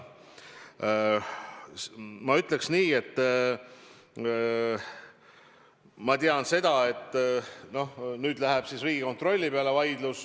Ma ütleks nii, et nüüd läheb siis vaidlus Riigikontrolli peale.